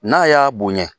N'a y'a bonyɛ